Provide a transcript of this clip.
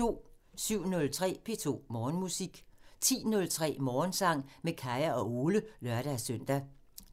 07:03: P2 Morgenmusik 10:03: Morgensang med Kaya og Ole (lør-søn)